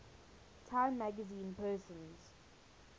time magazine persons